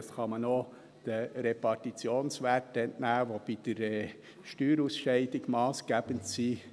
Das kann man auch den Repartitionswerten entnehmen, die bei der Steuerausscheidung massgebend sind.